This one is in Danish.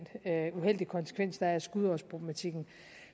uheldige konsekvens der er af skudårsproblematikken